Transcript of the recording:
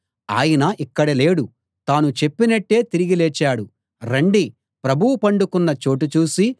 ఆయన ఇక్కడ లేడు తాను చెప్పినట్టే తిరిగి లేచాడు రండి ప్రభువు పండుకున్న చోటు చూసి